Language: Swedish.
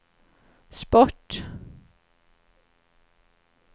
sport